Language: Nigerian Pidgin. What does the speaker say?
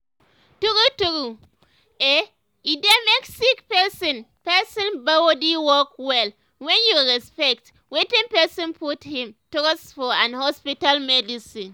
true true eh e dey make sick person person body work well wen you respect wetin person put him trust for and hospital medicine.